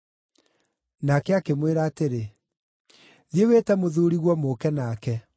Nake akĩmwĩra atĩrĩ, “Thiĩ wĩte mũthuuriguo mũũke nake.”